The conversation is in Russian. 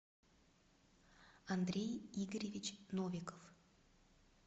андрей игоревич новиков